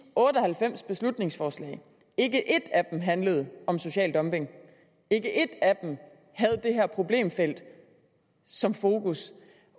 otte og halvfems beslutningsforslag ikke et af dem handlede om social dumping ikke et af dem havde det her problemfelt som fokus